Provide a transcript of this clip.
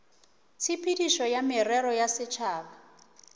tshepedišo ya merero ya setšhaba